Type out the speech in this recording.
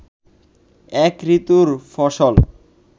এক ঋতুর ফসল